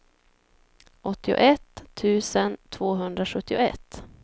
åttioett tusen tvåhundrasjuttioett